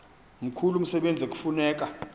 mkhulu umsebenzi ekufuneka